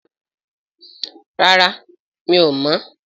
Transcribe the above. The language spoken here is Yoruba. Rárá mi ò mọ́